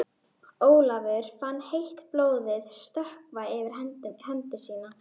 Ólafur fann heitt blóðið stökkva yfir hendi sína.